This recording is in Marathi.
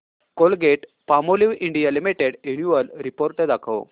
Colgate Palmolive India limited annual report दाखव